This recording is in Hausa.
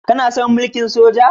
Kana son mulkin soja?